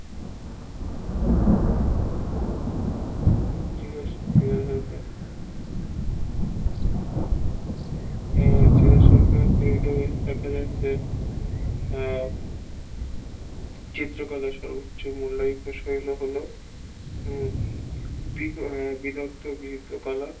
আহ বলতে গেলে চিত্র কলা সর্বোচ্চ মূল্যায়িত শুন্য হলো উম দিগন্ত মিলিত কলা